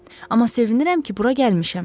Amma sevinirəm ki, bura gəlmişəm.